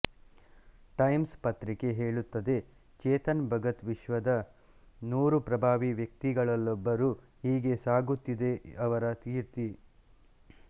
times ಪತ್ರಿಕೆ ಹೇಳುತ್ತದೆ ಚೇತನ್ ಭಗತ್ ವಿಶ್ವದ ನೂರು ಪ್ರಭಾವೀ ವ್ಯಕ್ತಿಗಳಲ್ಲೊಬ್ಬರು ಹೀಗೆ ಸಾಗುತ್ತಿದೆ ಅವರ ಕೀರ್ತಿ